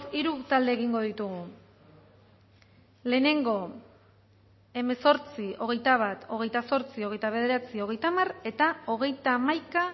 hiru talde egingo ditugu lehenengo hemezortzi hogeita bat hogeita zortzi hogeita bederatzi hogeita hamar eta hogeita hamaika